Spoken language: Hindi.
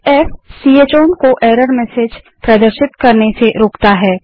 f160 च ओवन को एरर मेसेज प्रदर्शित करने से रोकता है